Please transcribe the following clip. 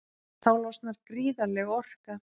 Þá losnar gríðarleg orka.